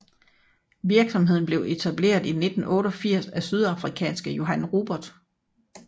Virksomheden blev etableret i 1988 af sydafrikanske Johann Rupert